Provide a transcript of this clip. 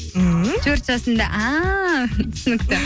ммм төрт жасында ааа түсінікті